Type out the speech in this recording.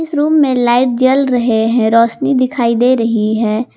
Room में light जल रहे है रोशनी दिखाई दे रही है।